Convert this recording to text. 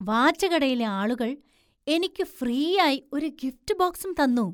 വാച്ചുകടയിലെ ആളുകൾ എനിക്ക് ഫ്രീയായി ഒരു ഗിഫ്റ്റ് ബോക്സും തന്നു!